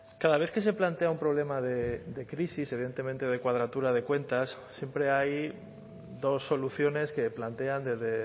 cada vez que se plantea un problema de crisis evidentemente de cuadratura de cuentas siempre hay dos soluciones que plantean desde